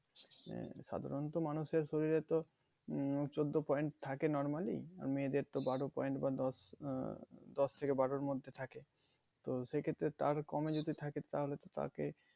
আহ সাধারণত মানুষের শরীরে তো উম চোদ্দ point থাকে normally আর মেয়েদের তো বারো point বা দশ আহ দশ থেকে বারোর মধ্যে থাকে তো সেক্ষেত্রে তার কমে যদি থাকে তাহলে তো তাকে